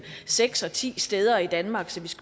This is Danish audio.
seks og ti steder i danmark så vi